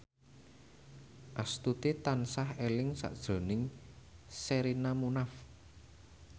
Astuti tansah eling sakjroning Sherina Munaf